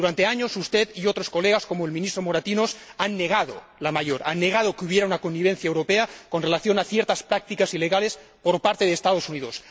Durante años, usted y otros colegas, como el Ministro Moratinos, han negado la mayor parte. Han negado que hubiera una connivencia europea con relación a ciertas prácticas ilegales por parte de los Estados Unidos.